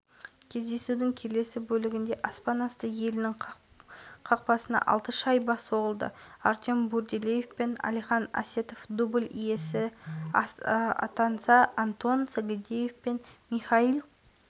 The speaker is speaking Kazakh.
үш минут салып антон сагадеев үшінші шайбаны тоғытты сонымен қатар дмитрий гренц минутта владислав никулин